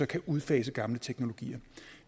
kan udfase gamle teknologier